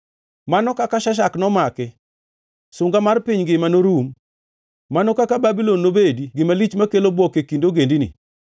“Mano kaka Sheshak nomaki, sunga mar piny ngima norum! Mano kaka Babulon nobedi gima lich makelo bwok e kind ogendini!